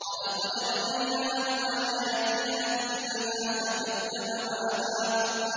وَلَقَدْ أَرَيْنَاهُ آيَاتِنَا كُلَّهَا فَكَذَّبَ وَأَبَىٰ